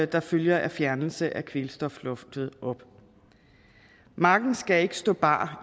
der følger af fjernelse af kvælstofloftet op marken skal ikke stå bar